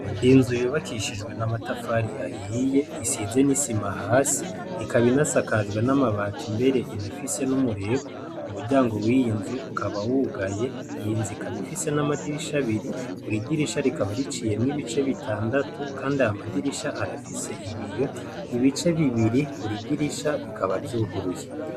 Inzu yubakishijwe n'amatafari ahiye, isize n'isima hasi. Ikaba inasakajwe n'amabati mbere inafise n'umureko, umuryango w'iyo nzu ukaba wugaye. Iyo nzu ikaba ifise n'amadirisha abiri. Buri dirisha rikaba riciyemwo ibice bitandatu, kandi ayo ma dirisha arafise ibiyo. Ibice bibiri, buri dirisha bikaba vyuguruye.